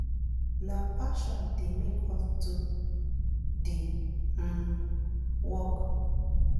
na passion dey make us do di um work